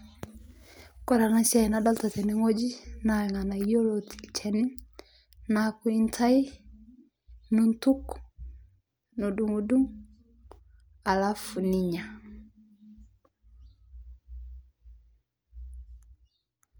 Kore ana siai nadolita tene ng'oji naa lganayo lotii lcheni naaku intai, nintuk, nidung'dung' alafu ninya